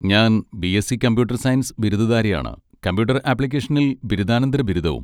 ഞാൻ BSc computer science ബിരുദധാരിയാണ്, computer ആപ്ലിക്കേഷനിൽ ബിരുദാനന്തര ബിരുദവും.